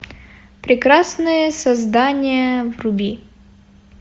прекрасное создание вруби